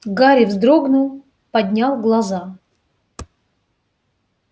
гарри вздрогнул поднял глаза